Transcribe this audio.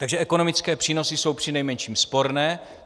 Takže ekonomické přínosy jsou při nejmenším sporné.